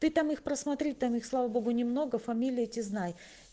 ты там их посмотри там их слава богу немного фамилии эти знай